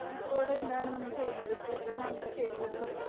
ഇപ്പോൾ എന്താണ് നമ്മൾ ചെയ്യുന്നത് കൂടുതൽ നമ്മൾ ചെടികളും